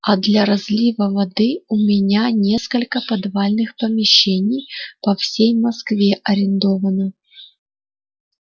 а для разлива воды у меня несколько подвальных помещений по всей москве арендовано